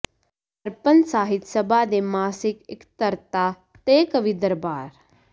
ਦਰਪਣ ਸਾਹਿਤ ਸਭਾ ਦੀ ਮਾਸਿਕ ਇਕੱਤਰਤਾ ਤੇ ਕਵੀ ਦਰਬਾਰ